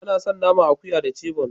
Ana san naman akuya da "chebon".